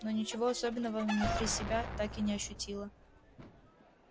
но ничего особенного внутри себя так и не ощутила